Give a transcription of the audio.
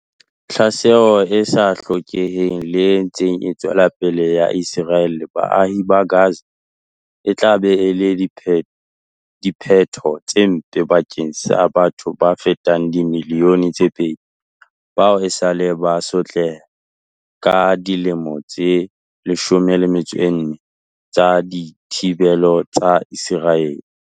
Tlhaselo e sa hlokeheng le e ntseng e tswela pele ya Ise raele baahing ba Gaza e tla ba le diphetho tse mpe bakeng sa batho ba fetang dimili yone tse pedi bao esaleng ba sotleha ka dilemo tse 14 tsa dithibelo tsa Iseraele.